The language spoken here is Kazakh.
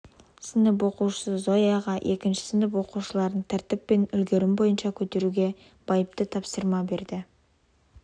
сынып оқушысы зояға екінші сынып оқушыларын тәртіп пен үлгерім бойынша көтеруге байыпты тапсырма берді бір